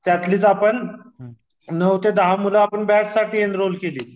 त्यातलीच आपण नऊ ते दहा मूल आपण बॅचसाठी एन्रॉल केली